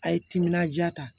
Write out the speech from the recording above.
A ye timinan diya ta